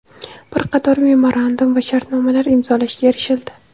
Bir qator memorandum va shartnomalar imzolashga erishildi.